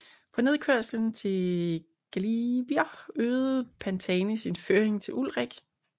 På nedkørslen fra Galibier øgede Pantani sin føring til Ullrich